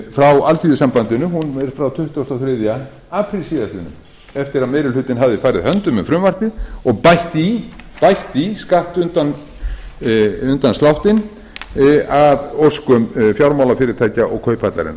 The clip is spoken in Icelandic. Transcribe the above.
frá alþýðusambandinu frá tuttugasta og þriðja apríl síðastliðinn eftir að meiri hlutinn hafði farið höndum um frumvarpið og bætt í skattundanslættinum að óskum fjármálafyrirtækja og kauphallarinnar